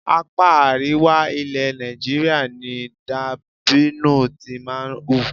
Apá àríwá ilẹ̀ Nàìjíríà ni dàbínù ti máa ń hù.